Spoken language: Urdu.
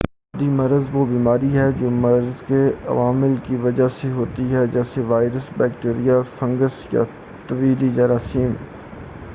متعدی مرض وہ بیماری ہے جو مرض کے عوامل کی وجہ سے ہوتی ہے جیسے وائرس بیکٹیریم فنگس یا دیگر طفیلی جراثیم